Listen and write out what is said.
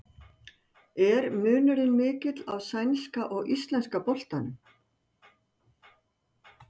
Er munurinn mikill á sænska og íslenska boltanum?